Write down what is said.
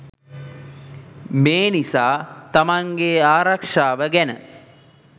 මේ නිසා තමන්ගේ ආරක්ෂාව ගැන